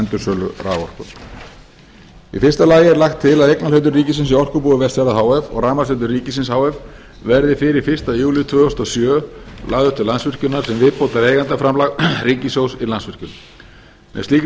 endursölu raforku í fyrsta lagi er lagt til að eignarhlutur ríkisins í orkubúi vestfjarða h f og rafmagnsveitum ríkisins h f verði fyrir fyrsta júlí tvö þúsund og sjö lagður til landsvirkjunar sem viðbótareigandaframlag ríkissjóðs í landsvirkjun með slíkri